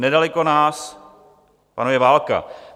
Nedaleko nás panuje válka.